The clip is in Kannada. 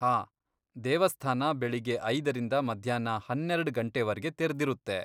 ಹಾಂ, ದೇವಸ್ಥಾನ ಬೆಳಿಗ್ಗೆ ಐದರಿಂದ ಮಧ್ಯಾಹ್ನ ಹನ್ನೆರೆಡ್ ಗಂಟೆವರ್ಗೆ ತೆರ್ದಿರುತ್ತೆ.